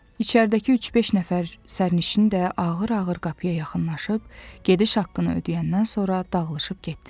İçəridəki üç-beş nəfər sərnişin də ağır-ağır qapıya yaxınlaşıb, gediş haqqını ödəyəndən sonra dağılışıb getdilər.